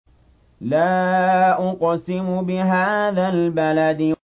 لَا أُقْسِمُ بِهَٰذَا الْبَلَدِ